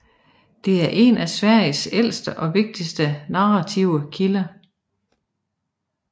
Det er en af Sveriges ældste og vigtigste narrative kilder